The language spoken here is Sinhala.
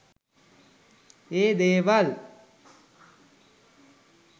ඒ දේවල්